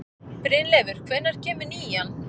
Brynleifur, hvenær kemur nían?